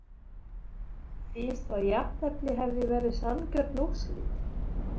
Finnst að jafntefli hefði verið sanngjörn úrslit?